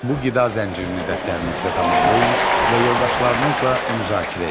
Bu qida zəncirini dəftərinizdə tamamlayın və yoldaşlarınızla müzakirə edin.